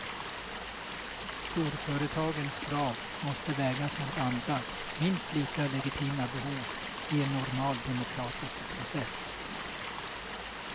Storföretagens krav måste vägas mot andra, minst lika legitima behov i en normal demokratisk process.